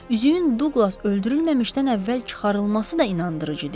Üzüyün Duqlas öldürülməmişdən əvvəl çıxarılması da inandırıcı deyil.